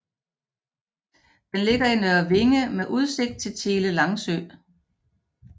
Den ligger i Nørre Vinge med udsigt til Tjele Langsø